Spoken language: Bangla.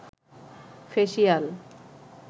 ফেসিয়াল